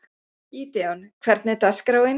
Gídeon, hvernig er dagskráin?